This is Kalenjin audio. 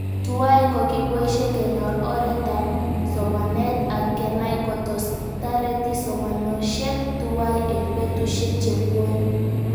Tuwai ko kipoishe kenyor oret ab somanet ak kenai kotos tareti somanoshek tuwai eng' petushek chepuoni